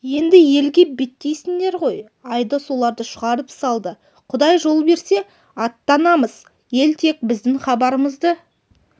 енді елге беттейсіңдер ғой айдос оларды шығарып салды құдай жол берсе аттанамыз ел тек біздің хабарымызды